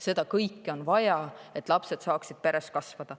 Seda kõike on vaja, et lapsed saaksid oma peres kasvada.